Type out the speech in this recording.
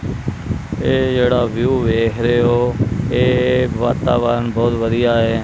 ਇਹ ਜਿਹੜਾ ਵਿਊ ਵੇਖ ਰਹੇ ਔ ਇਹ ਵਾਤਾਵਰਨ ਬਹੁਤ ਵਧੀਆ ਐ।